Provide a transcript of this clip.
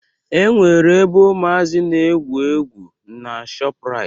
E nwere ebe umazi n'egwu egwu n'Shoprite